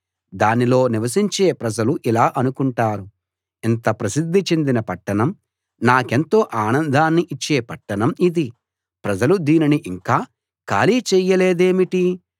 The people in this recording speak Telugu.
దానిలో నివసించే ప్రజలు ఇలా అనుకుంటారు ఇంత ప్రసిద్ధి చెందిన పట్టణం నాకెంతో ఆనందాన్ని ఇచ్చే పట్టణం ఇది ప్రజలు దీనిని ఇంకా ఖాళీ చేయలేదేమిటి